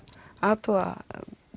athuga